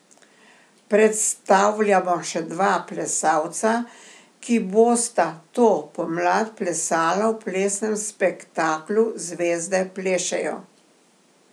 Predstavljamo še dva plesalca, ki bosta to pomlad plesala v plesnem spektaklu Zvezde plešejo.